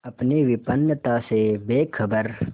अपनी विपन्नता से बेखबर